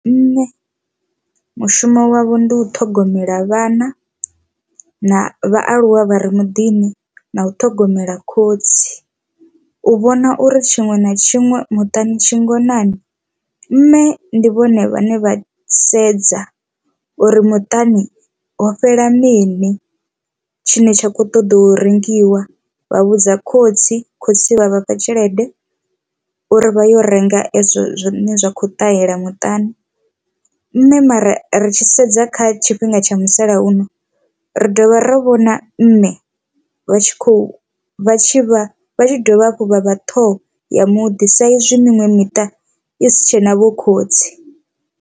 Mme mushumo wavho ndi u ṱhogomela vhana na vhaaluwa vha ri muḓini na u ṱhogomela khotsi u vhona uri tshiṅwe na tshiṅwe muṱani tshi ngonani. Mme ndi vhone vhane vha sedza uri muṱani ho fhela mini tshine tsha kho ṱoḓa u rengiwa vha vhudza khotsi khotsi vha vhafha tshelede uri vha yo renga ezwo zwine zwa kho ṱahela muṱani, mme mara ri tshi sedza kha tshifhinga tsha musalauno ri dovha ra vhona mme vha tshi kho vha tshi vha vha tshi dovha hafhu vha vha ṱhoho ya muḓi sa izwi miṅwe miṱa i si tshena vho khotsi.